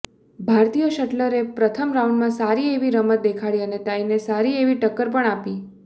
ભારતીય શટલરે પ્રથમ રાઉન્ડમાં સારી એવી રમત દેખાડી અને તાઇને સારી એવી ટક્કર પણ આવપી